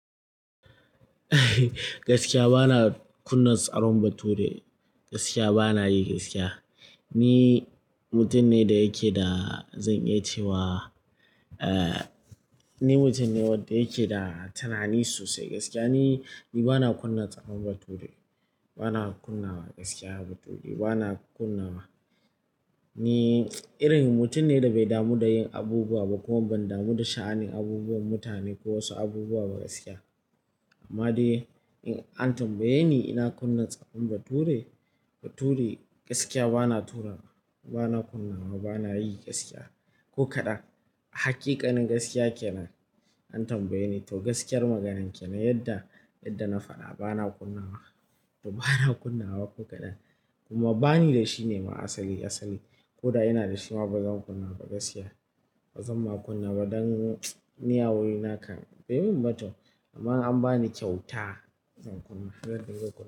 Bana kunna tsaron bature, gaskiya bana yi gaskiya. Ni mutum ne da yake da, zan iya cewa, eh, ni mutum ne wanda yake da tunani sosai gaskiya. Ni, bana kunna tsaron bature. Bana kunnawa gaskiya bature, bana kunnawa. Ni irin mutum ne da bai damu da yin abubuwa ba ko ban damu da sha'anin abubuwan mutane ko wasu abubuwa ba gaskiya. Amma dai in an tambaye ni ina kunna tsaron bature, bature gaskiya bana turawa. Bana kunnawa, bana yi gaskiya. Ko kaɗan. Hakikanin gaskiya kenan. An tambaye ni to gaskiyar maganan kenan yadda, yadda na faɗa bana kunnawa. To bana kunnawa ko kaɗan. Kuma bani da shi ne ma asali, asali. Ko da ina da shi ma bazan kunna ba gaskiya. Bazan ma kunna ba don ni a wurina kan. Bai min ba to. Amma in an ba ni ƙyauta, zan kunna, har gangan zan kunna.